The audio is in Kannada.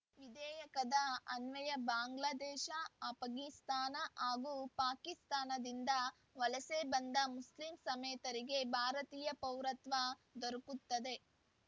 ವಿಧೇಯಕದ ಅನ್ವಯ ಬಾಂಗ್ಲಾದೇಶ ಆಷ್ಘಾನಿಸ್ತಾನ ಹಾಗೂ ಪಾಕಿಸ್ತಾನದಿಂದ ವಲಸೆ ಬಂದ ಮುಸ್ಲಿಮೇತರರಿಗೆ ಭಾರತೀಯ ಪೌರತ್ವ ದೊರಕುತ್ತದೆ